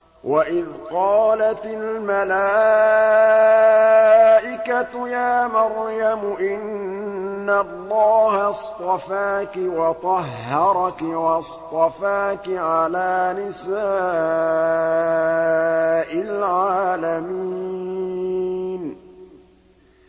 وَإِذْ قَالَتِ الْمَلَائِكَةُ يَا مَرْيَمُ إِنَّ اللَّهَ اصْطَفَاكِ وَطَهَّرَكِ وَاصْطَفَاكِ عَلَىٰ نِسَاءِ الْعَالَمِينَ